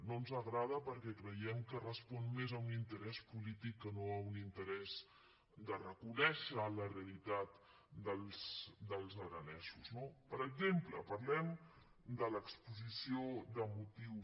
no ens agrada perquè creiem que respon més a un interès polític que no a un interès de reconèixer la realitat dels aranesos no per exemple parlem de l’exposició de motius